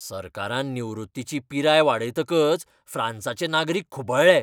सरकारान निवृत्तीची पिराय वाडयतकच फ्रांसाचे नागरीक खुबळ्ळे.